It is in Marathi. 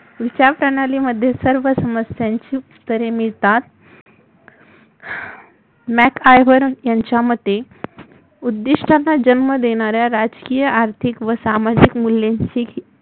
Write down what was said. विचारप्रणालीमध्ये सर्व समस्यांची उत्तरे मिळतात मॅक हार्बन यांच्यामते उद्दिष्टांना जन्म देणा-या राजकीय आर्थितक सामाजिक मुल्यांची